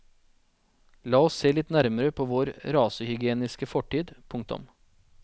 La oss se litt nærmere på vår rasehygieniske fortid. punktum